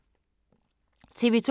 TV 2